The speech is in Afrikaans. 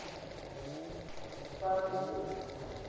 perdekop